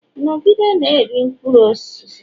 Nọgide na-eri mkpụrụ osisi!